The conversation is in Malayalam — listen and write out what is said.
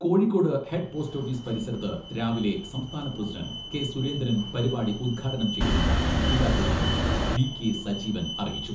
കോഴിക്കോട് ഹെഡ് പോസ്റ്റ് ഓഫീസ് പരിസരത്ത് രാവിലെ സംസ്ഥാന പ്രസിഡന്റ് കെ.സുരേന്ദ്രൻ പരിപാടി ഉദ്ഘാടനം ചെയ്യുമെന്ന് ജില്ലാ പ്രസിഡന്റ് വി.കെ.സജീവൻ അറിയിച്ചു.